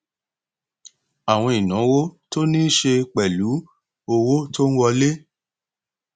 àwọn ìnáwó tó ní í ṣe pẹlú owó tó n wọlé